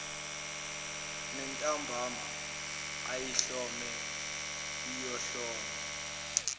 nentambama ayihlome ayihlome